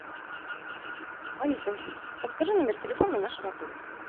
алиса подскажи номер телефона нашего отеля